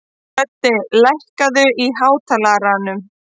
Höddi, lækkaðu í hátalaranum.